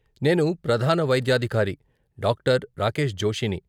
నేను ప్రధాన వైద్యాధికారి డాక్టర్ రాకేశ్ జోషీని.